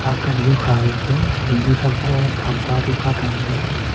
akam nu gega ling nu pha ma tham pa nu ka thang ga.